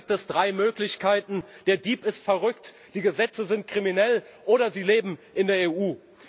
Dann gibt es drei Möglichkeiten Der Dieb ist verrückt, die Gesetze sind kriminell, oder Sie leben in der EU.